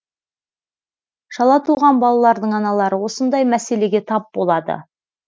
шала туған балалардың аналары осындай мәселеге тап болады